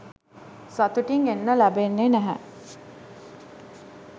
සතුටින් එන්න ලැබෙන්නේ නෑ